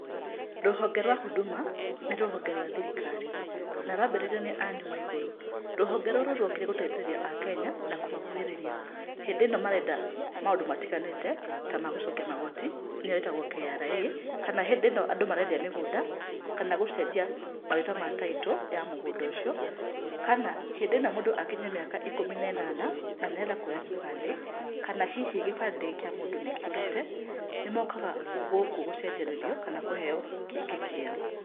Rũhonge rwa Huduma nĩ rũhonge rwa thirikari, na rwambĩrĩirio nĩ Anne Waigũrũ. Rũhonge rũrũ rwokire gũteithĩrĩria Akenya na kũmakuhĩrĩria, hĩndĩ ĩno marenda maundũ matiganĩte ta ma gũcokia magoti, nĩyo ĩtagũo KRA, kana hĩndĩ ĩno andũ marendia mĩgũnda, kana gũcenjia marĩtwa ma title ya mũgũnda ũcio, kana hĩndĩ ĩno mũndũ akinyia mĩaka ikũmi na ĩnana, na nĩarenda kuoya gĩbandĩ kana hihi gĩbandĩ kĩa mũndũ nĩkĩũrĩte, nĩmokaga gũkũ gũcenjanĩrio kana kũheo kĩngĩ kĩerũ.